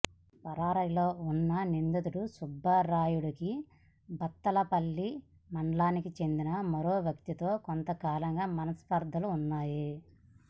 పరారీలో ఉన్న నిందితుడు సుబ్బరాయుడికి బత్తలపల్లి మండలానికి చెందిన మరో వ్యక్తితో కొంతకాలంగా మనస్పర్ధలున్నాయి